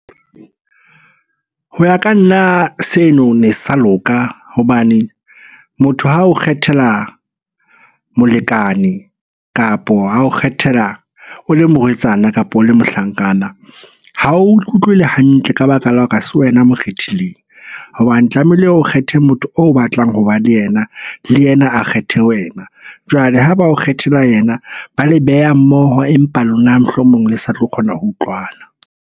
Ho ya ka nna seno ne se sa loka hobane motho ha o kgethela molekane, kapo a ho kgethela o le morwetsana, kapa o le mohlankana. Ha o ikutlwe le hantle ka baka la hore ha se wena mo kgethileng hobane tlamehile o kgethe motho o batlang ho ba le yena. Le yena a kgethe wena. Jwale ha ba o kgethela yena, ba le beha mmoho empa lona mohlomong le sa tlo kgona ho utlwana.